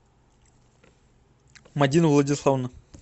мадина владиславовна